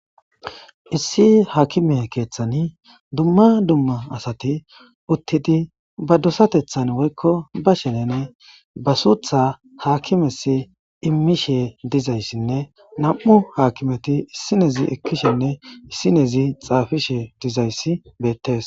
Issi haakime keeththani dumma dumma asati uttidi ba dosatethan woykko ba shelene basuutha haakimes immishe dizayssinne nam'u haakimeti issinezi ekkishenne issinezi xaafishe dizayssi beettes.